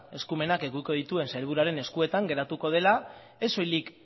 eskumenak edukiko dituen sailburuaren eskuetan geratuko dela ez soilik